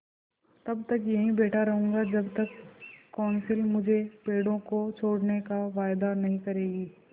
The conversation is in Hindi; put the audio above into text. तब तक यहीं बैठा रहूँगा जब तक कौंसिल मुझे पेड़ों को छोड़ने का वायदा नहीं करेगी